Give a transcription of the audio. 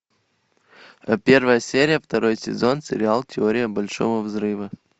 первая серия второй сезон сериал теория большого взрыва